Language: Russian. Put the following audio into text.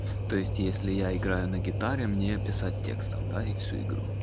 то есть если я играю на гитаре мне писать текстом да и всю игру